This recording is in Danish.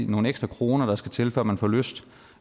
nogle ekstra kroner der skal til før man får lyst